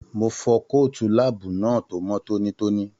Mo fọ kootu láàbù náà tó mọ tónítóní.